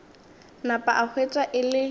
napa a hwetša e le